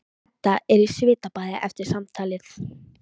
Edda er í svitabaði eftir samtalið.